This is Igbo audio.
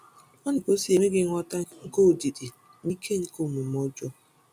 Ọ na-egosi enweghị nghọta nke ọdịdị na ike nke omume ọjọọ.